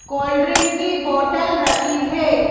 Cold drink की bottle रखी है।